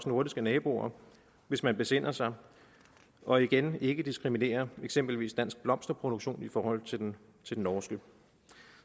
nordiske naboer hvis man besinder sig og igen ikke diskriminerer eksempelvis dansk blomsterproduktion i forhold til den norske